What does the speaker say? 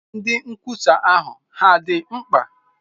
Ndị nkwusa ahụ hà dị mma?